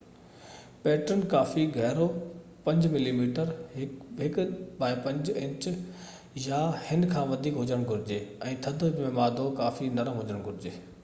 pattern ڪافي گهرو، 5 millimetre 1/5 inch يا هن کان وڌيڪ هجڻ گهرجي، ۽ ٿڌ ۾ مادو ڪافي نرم هجڻ گهرجي